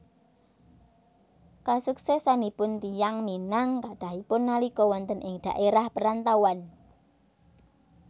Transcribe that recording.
Kasuksésanipun tiyang Minang kathahipun nalika wonten ing dhaérah parantauan